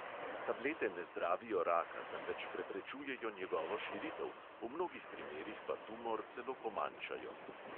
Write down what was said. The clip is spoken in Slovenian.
Tablete ne zdravijo raka, temveč preprečujejo njegovo širitev, v mnogih primerih pa tumor celo pomanjšajo.